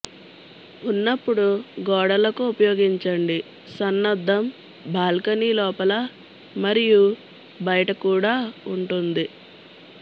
ఉన్నప్పుడు గోడలకు ఉపయోగించండి సన్నద్ధం బాల్కనీ లోపల మరియు బయట కూడా ఉంటుంది